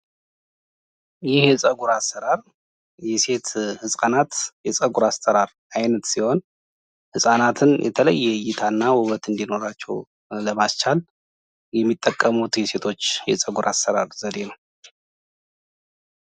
ይህ የጸጉር አሰራር የሴት ህጻናት የጸጉር አሰራር አይነት ሲህን ህጻናትን የተለየ እይታና ውበት እንድኖራቸው ለማስቻል የሚጠቀሙት የሴቶች የጸጉር አሰራር ዘዴ ነው።